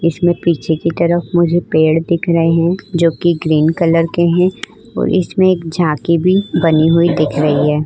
इसमें पीछे की तरफ मुझे पेड़ दिख रहे हैं जोकि ग्रीन कलर के हैं और इसमें एक झांकी भी बनी हुई दिख रही है।